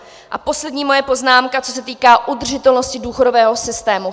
A poslední moje poznámka, co se týká udržitelnosti důchodového systému.